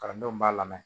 Kalandenw b'a lamɛn